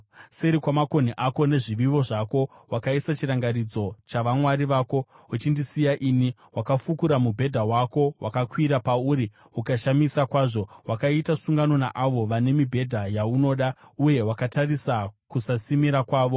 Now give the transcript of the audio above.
Seri kwamakonhi ako nezvivivo zvako wakaisa chirangaridzo chavamwari vako. Uchindisiya ini, wakafukura mubhedha wako, wakakwira pauri ukaushamisa kwazvo; wakaita sungano naavo vane mibhedha yaunoda, uye wakatarisa kusasimira kwavo.